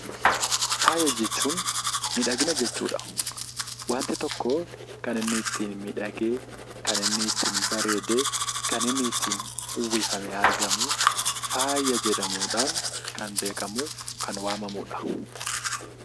Faaya jechuun miidhagina jechuudha. Waanti tokkoo gara inni itti miidhagee kan inni ittiin bareedee kan inni ittiin uwwifamee argamuu, faaya jedhamuun kan beekamuuf kan waamamuudha.